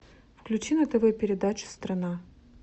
включи на тв передачу страна